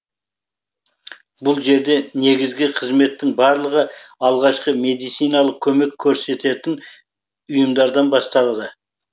бұл жерде негізгі қызметтің барлығы алғашқы медициналық көмек көрсететін ұйымдардан басталады